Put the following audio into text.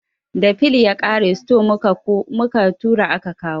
Da fil ya ƙare, store mu ka tura aka kawo